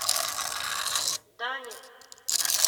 даня